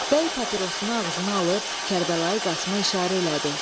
Bəy papirosunu ağzına alıb Kərbəlayı Qasıma işarə elədi.